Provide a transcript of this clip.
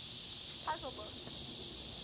puzzle books